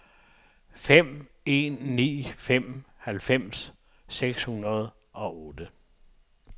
fem en ni fem halvfems seks hundrede og otte